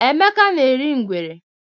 Emeka na-eri ngwere.